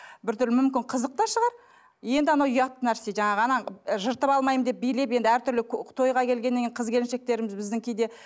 біртүрлі мүмкін қызық та шығар енді анау ұятты нәрсе жаңағы жыртып алмаймын деп билеп енді әртүрлі тойға келгеннен кейін қыз келіншектеріміз біздің кейде